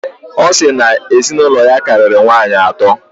Ọ sịrị na ezinụlọ ya karịrị nwaanyị atọ.